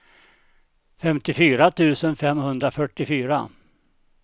femtiofyra tusen femhundrafyrtiofyra